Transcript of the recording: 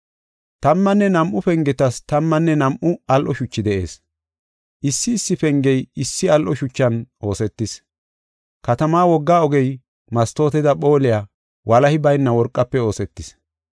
Tammanne nam7u pengetas tammanne nam7u al7o shuchi de7ees. Issi issi pengey issi al7o shuchan oosetis. Katamaa wogga ogey mastooteda phooliya walahi bayna worqafe oosetis.